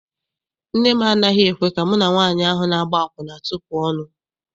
Nne m anaghị ekwe ka mụ na nwaanyị ahụ na-agba akwụna tupu ọnụ.